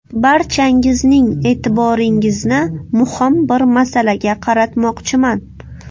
Barchangizning e’tiboringizni muhim bir masalaga qaratmoqchiman.